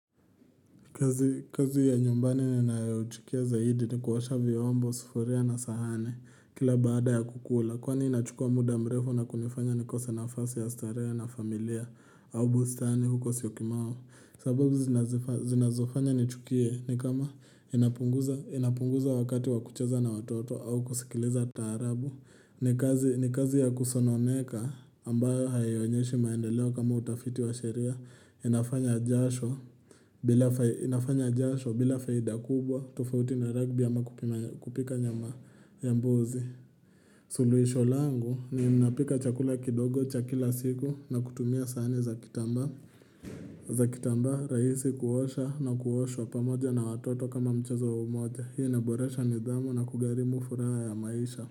Kazi ya nyumbani nanayochukia zaidi ni kuosha vyombo, sufuria na sahani kila baada ya kukula. Kwani inachukua muda mrefo na kunifanya ni kose nafasi ya starehe na familia, au bustani huko syokimau. Sababu zinazofanya nichukie ni kama inapunguza wakati wakucheza na watoto au kusikiliza taarabu. Ni kazi ya kusononeka ambayo hayonyeshi maendeleo kama utafiti wa sheria. Inafanya jasho bila faida kubwa tofauti na rugby ama kupika nyama ya mbuzi suluisho langu ni inapika chakula kidogo cha kila siku na kutumia sani za kitamba za kitamba raisi kuosha na kuosho pamoja na watoto kama mchazo wa umoja huu inaboresha nidhamu na kugharimu furaha ya maisha.